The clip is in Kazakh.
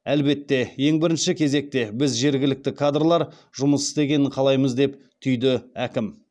әлбетте ең бірінші кезекте біз жергілікті кадрлар жұмыс істегенін қалаймыз деп түйді әкім